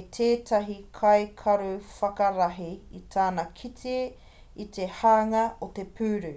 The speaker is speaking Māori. e tētahi kaikaruwhakarahi i tana kite i te hanga o te puru